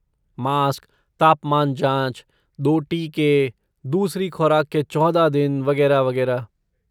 Mask, तापमान जाँच, दो टीके, दूसरी खुराक के चौदह दिन वगैरह, वगैरह।